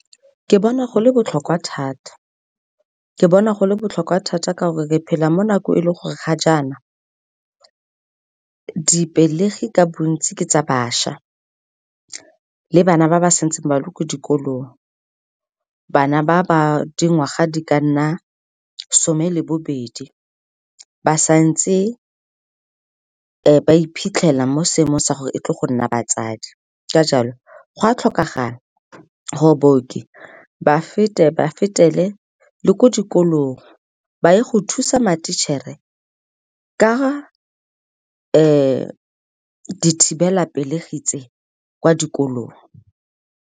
Ke bona go le botlhokwa thata, ke bona go le botlhokwa thata ka gore re phela mo nakong e le gore ga jaana dipelegi ka bontsi ke tsa bašwa le bana ba ba santseng ba le ko dikolong, bana ba ba dingwaga di ka nna some le bobedi, ba santse ba iphitlhela mo seemong sa gore e tlile go nna batsadi. Ka jalo, go a tlhokagala gore baoki ba fetele le ko dikolong, ba ye go thusa ma-teacher-e ka dithibelapelegi tse kwa dikolong.